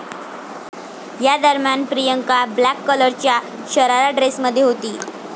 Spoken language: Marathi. यादरम्यान प्रियांका ब्लॅक कलरच्या शरारा ड्रेसमध्ये होती.